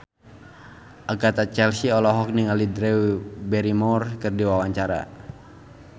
Agatha Chelsea olohok ningali Drew Barrymore keur diwawancara